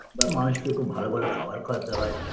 বা মানুষকে খুব ভালো ভালো খাবার খাওয়াতে হয়